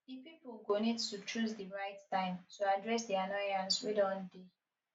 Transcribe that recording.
di pipo go need to choose di right time to address di annoyance wey don dey